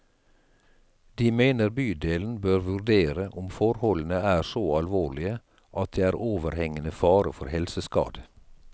De mener bydelen bør vurdere om forholdene er så alvorlige at det er overhengende fare for helseskade.